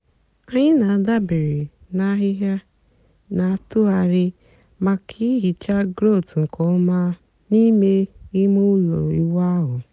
ànyị́ na-àdabèrè na àhị́hị́à na-àtụ̀ghàrị̀ maka ị́hìcha gráùt nkè ọ́ma n'ímè ímé ụ́lọ́ ị́wụ́ ahụ́.